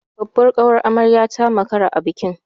Babbar ƙawar amaryar ta makara a bikin.